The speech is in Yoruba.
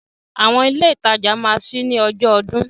Àwọn ilé ìtajà máa ṣí ní ọjọ́ ọdún.